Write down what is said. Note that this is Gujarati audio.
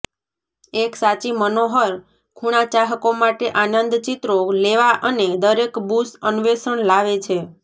એક સાચી મનોહર ખૂણા ચાહકો માટે આનંદ ચિત્રો લેવા અને દરેક બુશ અન્વેષણ લાવે છે